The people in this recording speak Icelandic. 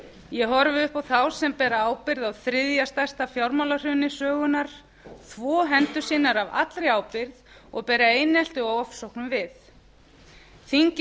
ég horfi upp á þá sem bera ábyrgð á þriðja stærsta fjármálahruni sögunnar þvo hendur sínar af allri ábyrgð og bera einelti og ofsóknum við þingið